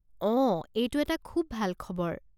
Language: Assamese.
অঁ, এইটো এটা খুব ভাল খবৰ।